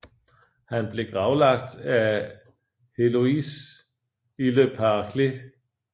Han blev gravlagt af Héloïse i Le Paraclet